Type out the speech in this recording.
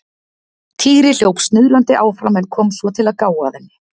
Týri hljóp snuðrandi áfram en kom svo til að gá að henni.